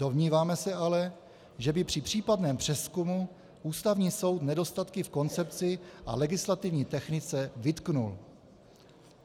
Domníváme se ale, že by při případném přezkumu Ústavní soud nedostatky v koncepci a legislativní technice vytknul.